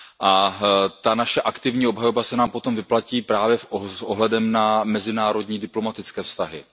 A ta naše aktivní obhajoba se nám potom vyplatí právě s ohledem na mezinárodní diplomatické vztahy.